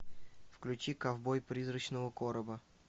включи ковбой призрачного короба